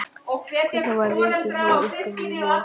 Hvernig var rekinn hjá ykkur í vor?